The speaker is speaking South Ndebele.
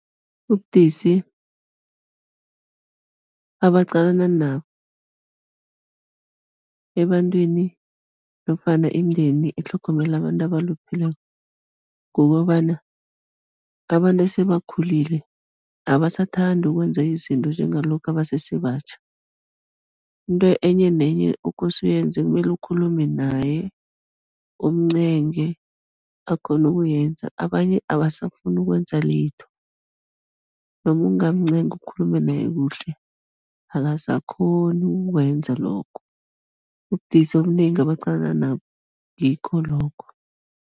Ubudisi abaqalana nabo ebantwini nofana imindeni etlhogomela abantu abalupheleko, kukobana abantu esebakhulile, abasathandi ukwenza izinto njengalokha basese batjha, into enye nenye okose uyenze kumele ukhulume naye, umncenge akghone ukuyenza, abanye abasafuni ukwenza litho, noma ungamncenga ukhulume naye kuhle, akasakghoni ukukwenza lokho, ubudisi obunengi abaqalana nabo, ngikho lokho.